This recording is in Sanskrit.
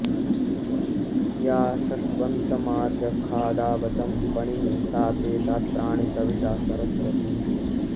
या शश्व॑न्तमाच॒खादा॑व॒सं प॒णिं ता ते॑ दा॒त्राणि॑ तवि॒षा स॑रस्वति